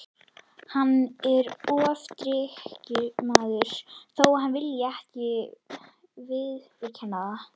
Hann er ofdrykkjumaður þó að hann vilji ekki viðurkenna það.